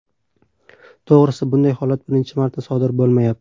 To‘g‘risi, bunday holat birinchi marta sodir bo‘lmayapti.